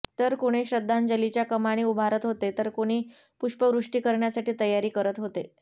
तर कुणी श्रद्धांजलीच्या कमानी उभारत होते तर कुणी पुष्पवृष्ठी करण्यासाठी तयारी करत होते